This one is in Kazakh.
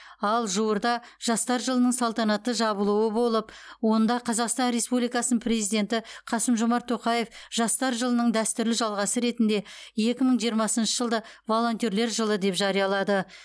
ал жуырда жастар жылының салтанатты жабылуы болып онда қазақстан республикасының президенті қасым жомарт тоқаев жастар жылының дәстүрлі жалғасы ретінде екі мың жиырмасыншы жылды волонтерлер жылы деп жариялады